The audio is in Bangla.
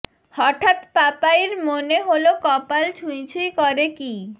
হঠাৎ পাপাইর মনে হলো কপাল ছুঁই ছুঁই করে কী